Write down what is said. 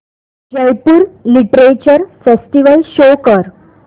Jaipur literature festival show कर